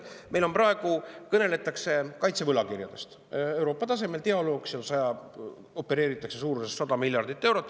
Praegu kõneldakse kaitsevõlakirjadest Euroopa tasemel, toimub dialoog, seal opereeritakse suurusega 100 miljardit eurot.